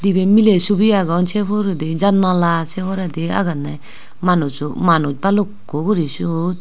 dibi miley subi agon se huredi janala se huredi agonne manuj bhalukku guri sut.